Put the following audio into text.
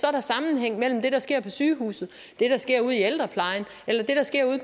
er der sammenhæng mellem det der sker på sygehuset det der sker ude i ældreplejen